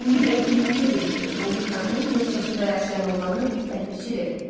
İndi görək kimin gözü itidir, Magikanın yoxsa suda yaşayan oğlanın, Ləpirçi dedi.